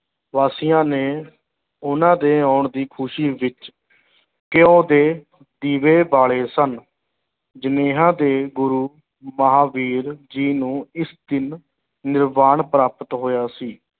ਵਾਸੀਆਂ ਨੇ ਉਹਨਾਂ ਦੇ ਆਉਣ ਦੀ ਖੁਸ਼ੀ ਵਿੱਚ ਘਿਉ ਦੇ ਦੀਵੇ ਬਾਲੇ ਸਨ ਦੇ ਗੁਰੂ ਮਹਾਂਵੀਰ ਜੀ ਨੂੰ ਇਸ ਦਿਨ ਨਿਰਵਾਨ ਪ੍ਰਾਪਤ ਹੋਇਆ ਸੀ,